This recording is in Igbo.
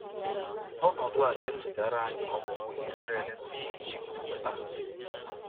Ọnọdụ a na-echetara anyị Ọpụpụ Izrel si n’Ijipt pụta.